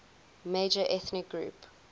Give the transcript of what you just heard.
major ethnic group